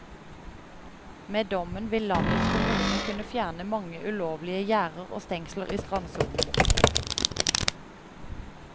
Med dommen vil landets kommuner kunne fjerne mange ulovlige gjerder og stengsler i strandsonen.